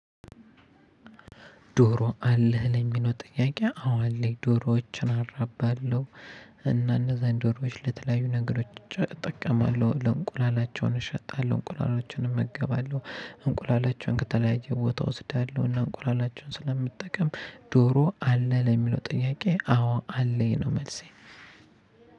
ዶሮ አለህ ለሚለው ጥያቄ አዎ አለኝ ዶሮዎችን አራባለሁ እና እነዛን ዶሮዎች ለተለያዩ ነገሮች እጠቀማለሁ። ለእንቁላላቸውን እሸጣለሁ፣ እንቁላላቸውን እመገባለሁ፣ እንቁላላቸውን ከተለያየ ቦታ እወስዳለሁ እና እንቁላላቸውን ስለምጠቀም ዶሮ አለ ለሚለው ጥያቄ አዎ አለኝ ነው መልሴ